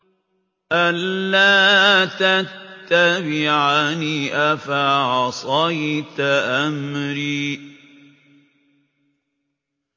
أَلَّا تَتَّبِعَنِ ۖ أَفَعَصَيْتَ أَمْرِي